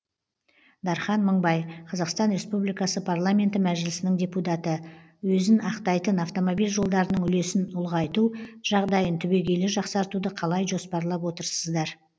дархан мыңбай қазақстан республикасы парламенті мәжілісінің депутаты өзін ақтайтын автомобиль жолдарының үлесін ұлғайту жағдайын түбегейлі жақсартуды қалай жоспарлап отырсыздар